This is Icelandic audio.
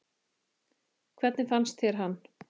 Hvernig fannst þér hann?